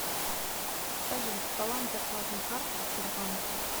салют баланс зарплатной карты сбербанка